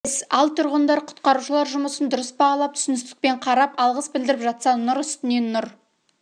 іс ал тұрғындар құтқарушылар жұмысын дұрыс бағалап түсіністікпен қарап алғыс білдіріп жатса нұр істіне нұр